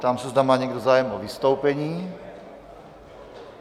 Ptám se, zda má někdo zájem o vystoupení.